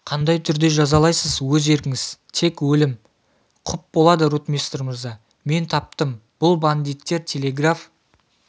қандай түрде жазалайсыз өз еркіңіз тек өлім құп болады ротмистр мырза мен таптым бұл бандиттер телеграф